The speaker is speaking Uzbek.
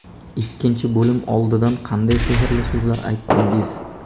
Ikkinchi bo‘lim oldidan qanday sehrli so‘zlar aytdingiz?